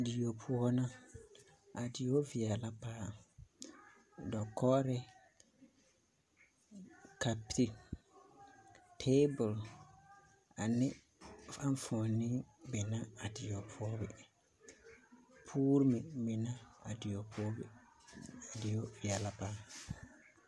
Die poɔ na a die veɛle la paa dakogiro kape taabol ane enfuoni be na a die poɔ be boo meŋ biŋ la a die poɔ be a die veɛlɛ paa